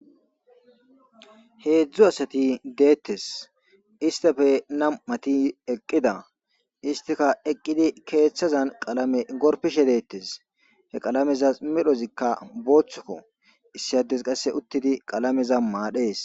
heedzdzu asati deettes istafe nam7ati eqqida istika eqqidi keeththazan qalame gorpishe deettes he qalameza medhozikka booththokko issi ades qasse uttidi qalameza maadhees